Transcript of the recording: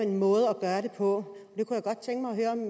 en måde at gøre det på jeg kunne godt tænke mig at høre om